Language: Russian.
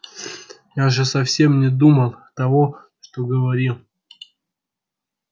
я же совсем не думал того что говорил